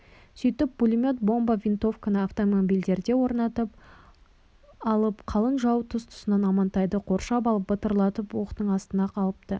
сөйтіп пулемет бомба винтовканы автомобильдерге орнатып алып қалың жау тұс-тұсынан амантайды қоршап алып бытырлатып оқтың астына алыпты